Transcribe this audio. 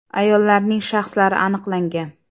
Ayollarning shaxslari aniqlangan.